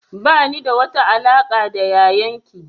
Ba ni da wata alaƙa da yayan ki